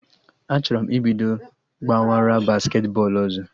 Achọrọ m ibido gbawara basketi bọọlụ ọzọ